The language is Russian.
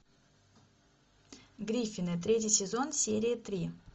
гриффины третий сезон серия три